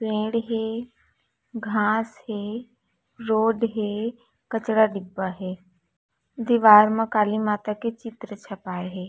पेड़ हे घास हे रोड हे कचरा डीब्बा हे दीवार म काली माता का चित्र छपा हे।